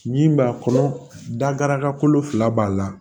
Min b'a kɔnɔ daraka kolo fila b'a la